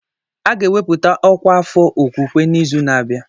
A ga-ewepụta ọkwa afọ okwukwe n'izu na-abịa.